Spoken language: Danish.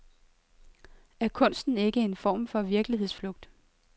Er kunsten ikke en form for virkelighedsflugt?